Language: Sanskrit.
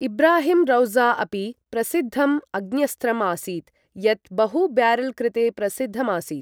इब्राहिम् रौज़ा अपि प्रसिद्धम् अग्न्यस्त्रम् आसीत्, यत् बहु ब्यारल् कृते प्रसिद्धम् आसीत्।